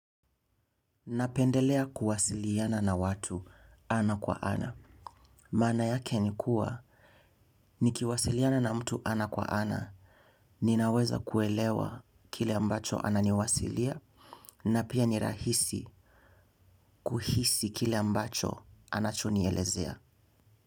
Napendelea kuwasiliana na watu ana kwa ana. Maana yake ni kuwa, nikiwasiliana na mtu ana kwa ana, ninaweza kuelewa kile ambacho ananiwasilia, na pia ni rahisi kuhisi kile ambacho anachonielezea.